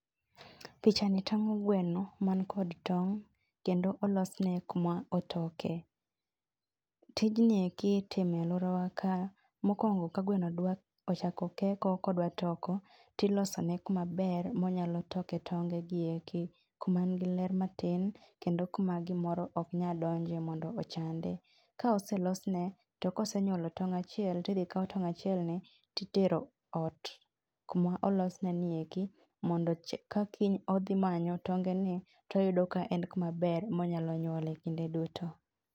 Picha ni tang'o gweno man kod tong', kendo olosne kuma otoke. Tijnie ki itime alworawa ka, mokwongo ka gweno ochako keko kodwa toko, tilosone kumaber monyalo toke tonge gieko. Kuma ngi ler matin kendo kuma gimoro ok nyal donje mondo ochande. Kaoselosne, to kaosenyuolo tong' achiel, tidhi kaw tong' achielni titero ot kuma olosne nieki. Mondo kakiny odhi manyo tonge ni toyudo ka en kumaber monyalo nyuole kinde duto.